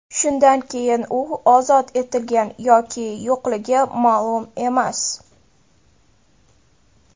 Shundan keyin u ozod etilgan yoki yo‘qligi ma’lum emas.